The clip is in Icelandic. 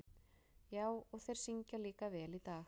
Já, og þeir syngja líka vel í dag.